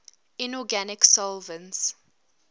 inorganic solvents